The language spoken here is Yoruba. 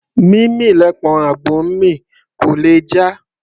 Mímì lẹpọ̀n àgbò ńmì; kò lè jà.